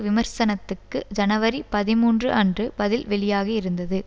விமர்சனத்துக்கு ஜனவரி பதிமூன்று அன்று பதில் வெளியாகியிருந்தது